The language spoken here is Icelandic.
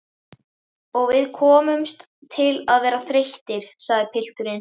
Og við komum til að verða þreyttir, sagði pilturinn.